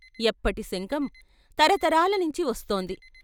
ఎప్పటి శంఖం! తరతరాలనించి వస్తోంది.